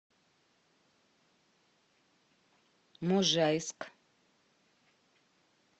можайск